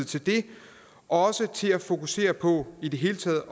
til det og også til at fokusere på i det hele taget